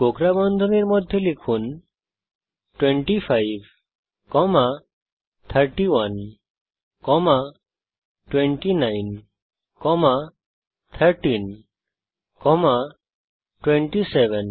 কোঁকড়া বন্ধনীর মধ্যে লিখুন 25 31 29 13 27